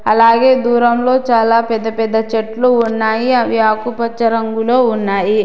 అలాగే దూరంలో చాలా పెద్ద పెద్ద చెట్లు ఉన్నాయి అవి ఆకుపచ్చ రంగులో ఉన్నాయి.